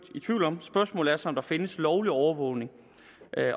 i tvivl om spørgsmålet er så om der findes lovlig overvågning